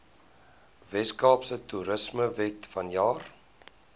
weskaapse toerismewet vanjaar